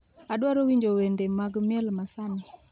Adwaro winjo wende mag miel ma sani